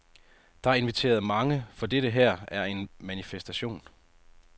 Der er inviteret mange, for dette her er en manifestation.